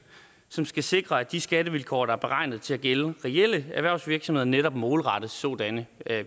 som skal sikre at de skattevilkår der er beregnet til at gælde reelle erhvervsvirksomheder netop målrettes sådanne